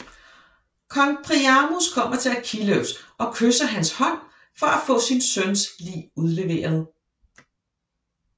Kong Priamos kommer til Achilleus og kysser hans hånd for at få sin søns lig udleveret